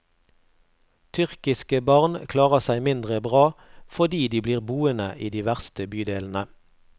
Tyrkiske barn klarer seg mindre bra, fordi de blir boende i de verste bydelene.